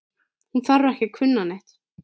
Hún þarf ekki að kunna neitt.